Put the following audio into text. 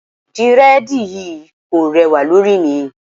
Dírẹ́dìì yí kò rẹwà lórí mi.